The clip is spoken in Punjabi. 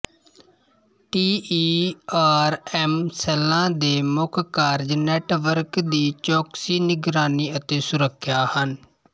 ਟੀਈਆਰਐਮ ਸੈੱਲਾਂ ਦੇ ਮੁੱਖ ਕਾਰਜ ਨੈਟਵਰਕ ਦੀ ਚੌਕਸੀ ਨਿਗਰਾਨੀ ਅਤੇ ਸੁਰੱਖਿਆ ਹਨ